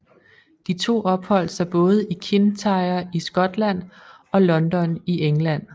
De to opholdt sig både i Kintyre i Skotland og London i England